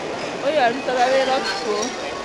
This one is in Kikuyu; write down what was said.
ũyũ arutaga wĩra ũtukũ